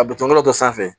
A bɛ tɔnbɔlɔ dɔ sanfɛ